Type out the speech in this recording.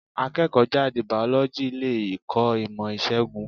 Akẹ́kọ̀ọ́ jáde Bàọ́lọ́jì le kọ́ ìmò ìṣègùn.